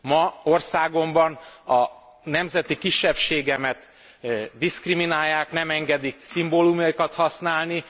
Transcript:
Ma országomban a nemzeti kisebbségemet diszkriminálják, nem engedik szimbólumaikat használni.